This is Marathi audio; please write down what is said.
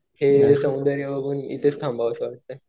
इथलं सौंदर्य बघून इथंच थांबावं वाटतंय.